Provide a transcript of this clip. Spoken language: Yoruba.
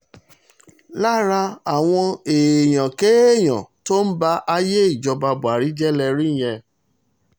lára àwọn èèyàn-kéèyàn tó ń ba ayé ìjọba buhari jẹ́ lè rí yẹn